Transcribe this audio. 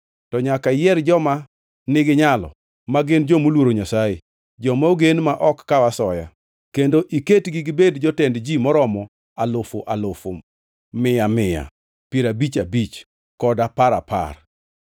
To nyaka iyier joma niginyalo ma gin ji moluoro Nyasaye, joma ogen ma ok kaw asoya, kendo iketgi gibed jotend ji maromo alufu alufu, mia mia, piero abich abich, kod apar apar.